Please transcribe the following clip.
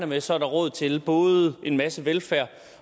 med så er råd til både en masse velfærd